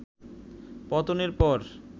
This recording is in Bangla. পতনের পর